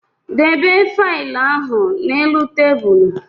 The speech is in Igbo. Dobe failụ ahụ n'elu tebụlụ!